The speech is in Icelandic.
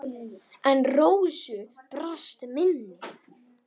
En Rósu brast minnið.